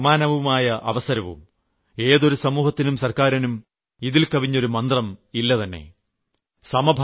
സമത്വവും സമാനവുമായ അവസരവും ഏതൊരു സമൂഹത്തിനും സർക്കാരിനും ഇതിൽ കവിഞ്ഞൊരു മന്ത്രം ഇല്ലതന്നെ